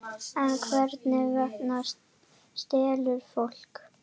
En hvers vegna stelur fólk?